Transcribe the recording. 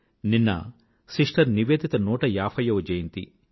నిన్న సిస్టర్ నివేదిత నూట ఏభైయ్యవ జయంతి